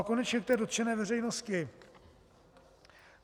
A konečně k té dotčené veřejnosti.